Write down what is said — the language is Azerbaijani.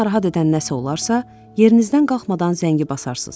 Sizi narahat edən nəsə olarsa, yerinizdən qalxmadan zəngi basarsız.